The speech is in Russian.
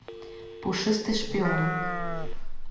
пушистый шпион